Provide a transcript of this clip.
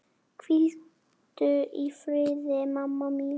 Hvíldu í friði, mamma mín.